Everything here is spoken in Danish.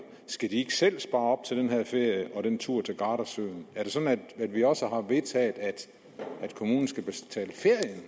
ikke selv spare op til den her ferie og den tur til gardasøen er det sådan at vi også har vedtaget at kommunen skal betale ferien